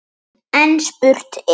En spurt er: